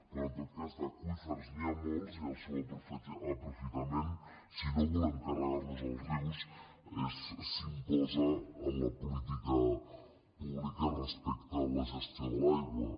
però en tot cas d’aqüífers n’hi ha molts i el seu aprofitament si no volem carregar nos els rius s’imposa en la política pública respecte a la gestió de l’aigua